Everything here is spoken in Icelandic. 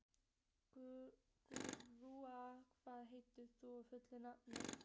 Gúa, hvað heitir þú fullu nafni?